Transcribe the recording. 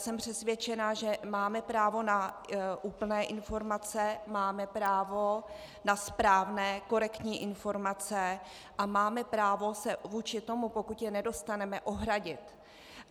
Jsem přesvědčena, že máme právo na úplné informace, máme právo na správné, korektní informace a máme právo se vůči tomu, pokud je nedostaneme, ohradit.